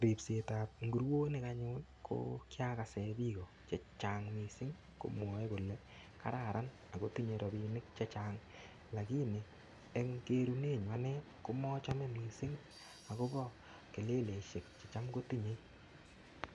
Ripsetab inguronik anyun ko kiagasen biiko che chang mising komwoe kole kararan agotinye rapinik che chang lagini eng kerunenyu anne komochome mising agobo keleleisiek checham kotinyei.